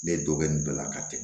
Ne dɔ bɛ nin bɛɛ la ka tɛmɛ